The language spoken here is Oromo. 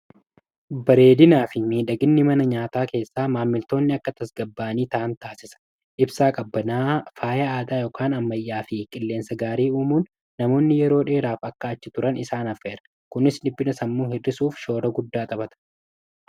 Bareedinaa fi miidhaginni mana nyaataa keessaa, maamiltoonni akka tasgabba'anii ta'an taasisa .Ibsaa qabbanaa ,faaya aadaa ykn ammayyaa fi qilleensa gaarii uumuun namoonni yeroo dheeraaf akka achi turan isaan affeera. Kunis dhiphina sammuu hir'isuuf shoora guddaa Taphata.